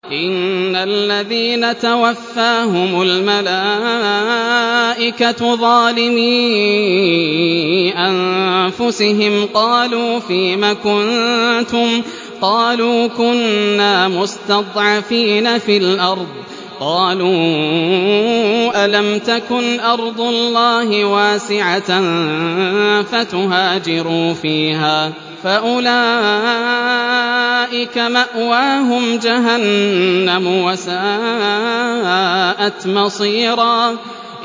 إِنَّ الَّذِينَ تَوَفَّاهُمُ الْمَلَائِكَةُ ظَالِمِي أَنفُسِهِمْ قَالُوا فِيمَ كُنتُمْ ۖ قَالُوا كُنَّا مُسْتَضْعَفِينَ فِي الْأَرْضِ ۚ قَالُوا أَلَمْ تَكُنْ أَرْضُ اللَّهِ وَاسِعَةً فَتُهَاجِرُوا فِيهَا ۚ فَأُولَٰئِكَ مَأْوَاهُمْ جَهَنَّمُ ۖ وَسَاءَتْ مَصِيرًا